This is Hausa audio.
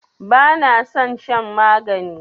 Bana san shan magani